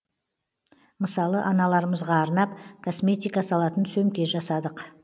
мысалы аналарымызға арнап косметика салатын сөмке жасадық